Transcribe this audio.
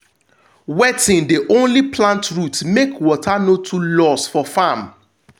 wetting dey only plant roots make water no too loss for farm